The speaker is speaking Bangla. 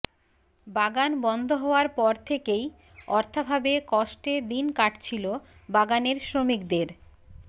বাগান বন্ধ হওয়ার পর থেকেই অর্থাভাবে কষ্টে দিন কাটছিল বাগানের শ্রমিকদের